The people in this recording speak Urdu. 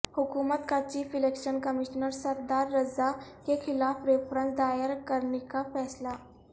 حکومت کا chief election commissioner Sardar Raza کیخلاف ریفرنس دائر کرنیکا فیصلہ